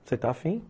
Você está afim?